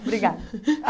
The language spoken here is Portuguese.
Ah Obrigada.